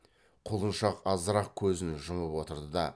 құлыншақ азырақ көзін жұмып отырды да